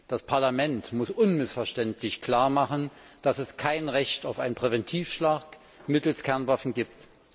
Das Parlament muss unmissverständlich klar machen, dass es kein Recht auf einen Präventivschlag mittels Kernwaffen gibt.